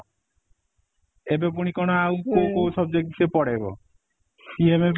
ଏବେ ପୁଣି କ'ଣ କୋଉ କୋଉ subject ସେ ପଢେଇବ ସିଏ may be